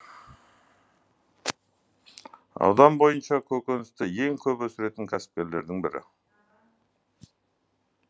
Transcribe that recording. аудан бойынша көкөністі ең көп өсіретін кәсіпкерлердің бірі